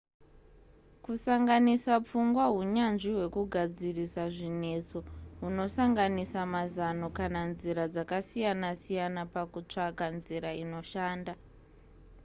kusanganisa pfungwa hunyanzvi hwekugadzirisa zvinetso hunosanganisa mazano kana nzira dzakasiyana siyana pakutsvaka nzira inoshanda